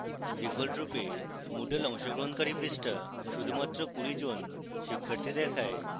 ডিফল্টরূপে moodle অংশগ্রহণকারী পৃষ্ঠা শুধুমাত্র 20 জন শিক্ষার্থী দেখায়